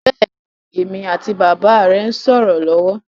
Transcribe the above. Bẹ́ẹ̀ni, èmi àti bàbà rẹ ń sọ̀rọ̀ lọ́wọ́